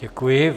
Děkuji.